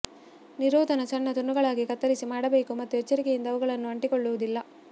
ನಿರೋಧನ ಸಣ್ಣ ತುಂಡುಗಳಾಗಿ ಕತ್ತರಿಸಿ ಮಾಡಬೇಕು ಮತ್ತು ಎಚ್ಚರಿಕೆಯಿಂದ ಅವುಗಳನ್ನು ಅಂಟಿಕೊಳ್ಳುವುದಿಲ್ಲ